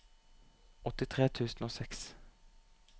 åttitre tusen og seks